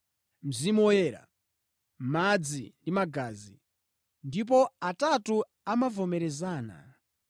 Mzimu Woyera, madzi ndi magazi; ndipo atatu amavomerezana.